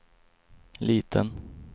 liten